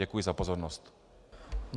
Děkuji za pozornost.